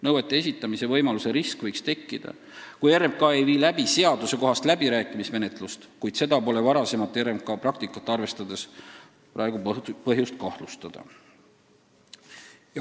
Nõuete esitamise võimaluse risk võiks tekkida, kui RMK ei vii läbi seadusekohast läbirääkimismenetlust, kuid seda pole varasemat RMK praktikat arvestades praegu põhjust karta.